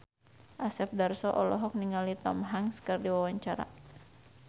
Asep Darso olohok ningali Tom Hanks keur diwawancara